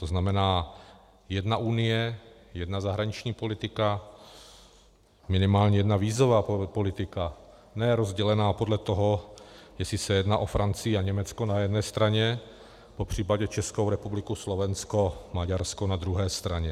To znamená jedna unie, jedna zahraniční politika, minimálně jedna vízová politika, ne rozdělená podle toho, jestli se jedná o Francii a Německo na jedné straně, popřípadě Českou republiku, Slovensko, Maďarsko na druhé straně.